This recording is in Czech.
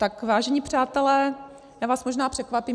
Tak vážení přátelé, já vás možná překvapím.